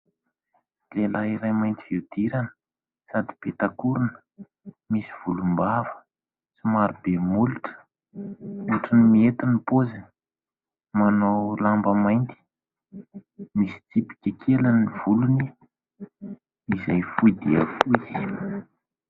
Lehilahy iray mainty fihodirana sady peta-korona, misy volombava, somary be molotra ohatra ny mihety ny paoziny, manao lamba mainty misy tsipika kely ny volony izay fohy dia kohy.